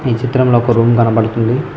ఈ చిత్రంలో ఒక రూమ్ కనబడుతుంది.